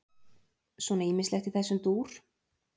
Svona ýmislegt í þessum dúr.